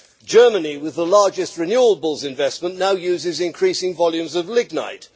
Germany, with the largest renewables investment, now uses increasing volumes of lignite.